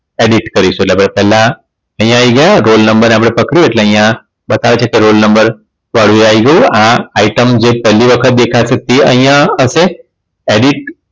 edit કરીશું એટલે આપણે પેલા અહીંયા આઈ ગયા રોલનંબર ને આપડે પકડ્યું એટલે અહીંયા બતાવે છે કે રોલનંબર આઈ ગયું આ આઈટમ જે પેલી વખત દેખાતી તે અહીંયા હશે edit